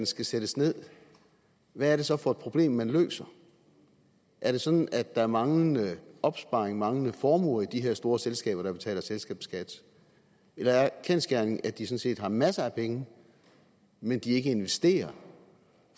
skal sættes ned hvad er det så for et problem man løser er det sådan at der er manglende opsparinger manglende formuer i de her store selskaber der betaler selskabsskat eller er kendsgerningen at de sådan set har masser af penge men at de ikke investerer